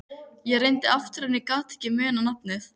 Ég reyndi aftur en ég gat ekki munað nafnið.